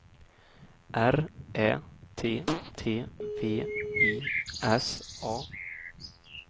R Ä T T V I S A